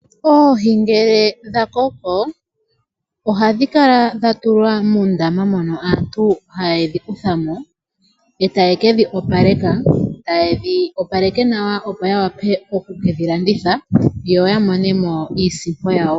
Oohi ngele dha koko oha dhi kala dha tulwa muundama mono aantu haye dhi kuthamo e taye kedhi opaleka, taye dhi opaleke nawa opo ya wape okukedhi landitha yo ya monemo iisimpo yawo.